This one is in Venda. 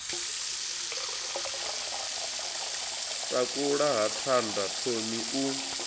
takula ha thanda thomi u